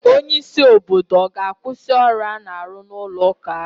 Onye isi obodo ọ ga-akwụsị ọrụ a na-arụ n'ụlọ ụka ahụ?